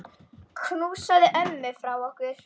Knúsaðu ömmu frá okkur.